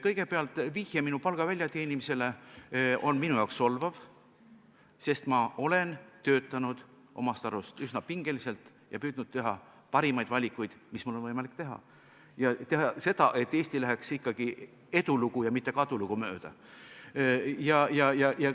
Kõigepealt, vihje minu palga väljateenimisele on minu jaoks solvav, sest ma olen enda arvates töötanud üsna pingeliselt ja püüdnud teha parimaid valikuid, mis mul on võimalik teha, ja teha seda, et Eesti läheks ikkagi mööda eduloo ja mitte kaduloo rada.